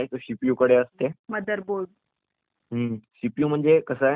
हम्म..............सीपीयू म्हणजे कस आहे त्याच्यामध्ये वेगळे वेगळे चेंबर्स असतात